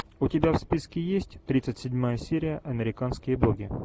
у тебя в списке есть тридцать седьмая серия американские боги